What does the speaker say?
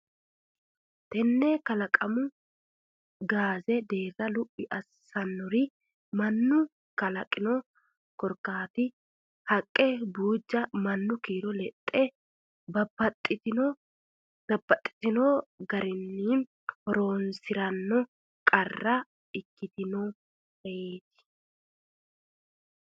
Tenne kalaqamu gaazza deerra luphi assitannori mannu kalaqino korkaatta haqqe buujja mannu kiiro lexxanna babbaxxitino giiramaano horonsi ra qara ikkitinoreeti.